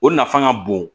O nafa ka bon